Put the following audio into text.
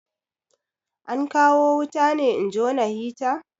An kawo wuta ne in jona hita?